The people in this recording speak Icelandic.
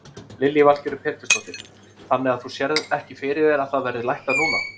Lillý Valgerður Pétursdóttir: Þannig að þú sérð ekki fyrir þér að það verði lækkað núna?